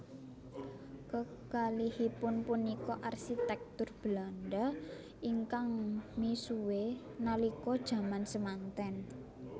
Kekalihipun punika arsitektur Belanda ingkang misuwue nalika jaman semanten